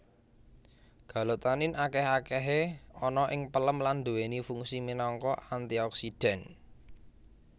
Galotanin akeh akahe ana ing pelem lan duweni fungsi minangka antioksidan